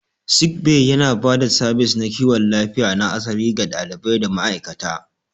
Sick Bay yana ba da sabis na kiwon lafiya na asali ga ɗalibai da ma'aikata.